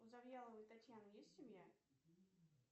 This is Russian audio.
у завьяловой татьяны есть семья